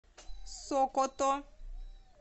сокото